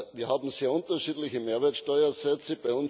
Wir haben sehr unterschiedliche Mehrwertsteuersätze.